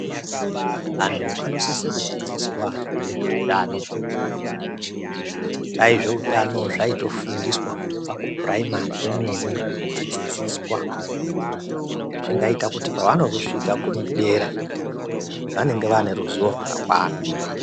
Antu anosise kudzidziswa ngezveutano. Dai zveutano zvaitofundiswa kubva kupuraimari kwemene vechidzidziswa zvingaita kuti pavanozosvika dera vanenge vaane ruzivo rwakakwana.